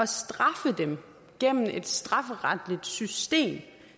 straffe dem gennem et strafferetligt system